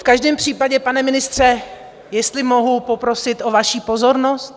V každém případě, pane ministře, jestli mohu poprosit o vaši pozornost?